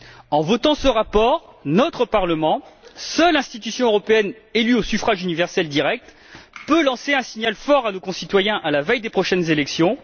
En adoptant ce rapport, notre Parlement, seule institution européenne élue au suffrage universel direct, peut lancer un signal fort à nos concitoyens à la veille des prochaines élections.